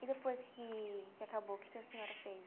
E depois que que acabou, o que que a senhora fez?